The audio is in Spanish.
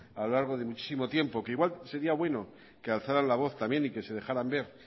a lo largo de muchísimo tiempo que igual sería bueno que alzaran la voz y que se dejaran ver